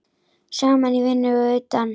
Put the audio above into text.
Saman í vinnu og utan.